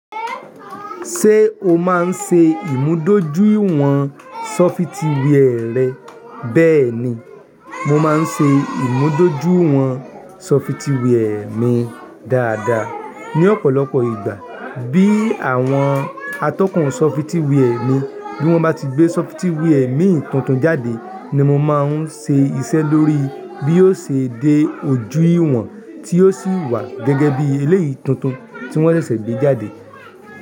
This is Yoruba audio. Ṣé o máa ń ṣe ìmúdójúìwọ̀n ṣọfitíwì ẹ rẹ? Bẹ́ẹ̀ ni, mo máa ń ṣe ìmúdójúìwọ̀n sọfitíwì ẹ mi dáadáa ní ọ̀pọ̀lọpọ̀ ìgbà. Bí àwọn atọ́kùn ṣọfitíwì ẹ mi bí wọ́n bá ti gbé ṣọfitíwì èmi tuntun jáde ni mo máa ń ṣe iṣẹ́ lórí i. Bí yóò ṣe dé ojú ìwọ̀n tí yóò sì wà gẹ́gẹ́ bí eléyìí tuntun tí wọ́n ṣẹ̀ṣẹ̀ gbé jáde.